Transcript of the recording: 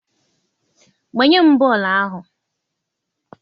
gbanye m bọọlụ ahụ!